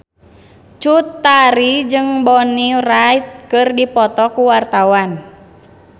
Cut Tari jeung Bonnie Wright keur dipoto ku wartawan